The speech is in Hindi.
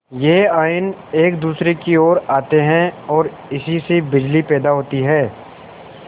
यह आयन एक दूसरे की ओर आते हैं ओर इसी से बिजली पैदा होती है